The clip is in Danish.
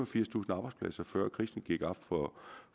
firstusind arbejdspladser før det gik op